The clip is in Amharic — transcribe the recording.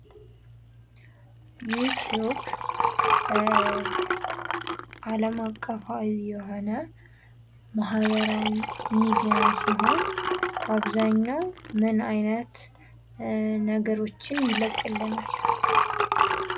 ዩትዩብ አለም አቀፋዊ የሆነ ማህበራዊ ሚዲያ ሲሆን፤ በአብዛኛው ምን አይነት ነገሮችን ይለቅልናል?